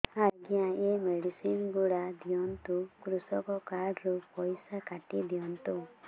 ଆଜ୍ଞା ଏ ମେଡିସିନ ଗୁଡା ଦିଅନ୍ତୁ କୃଷକ କାର୍ଡ ରୁ ପଇସା କାଟିଦିଅନ୍ତୁ